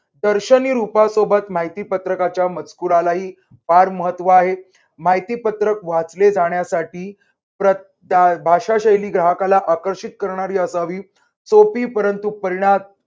दर्शनी रूपात सोबत माहिती पत्रकाच्या मजकुराला ही फार महत्त्व आहे. माहितीपत्रक वाचले जाण्यासाठी प्रत् आह भाषाशैली ग्राहकाला आकर्षित करणारी असावी. सोपी परंतु परिणा